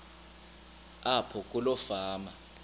apho kuloo fama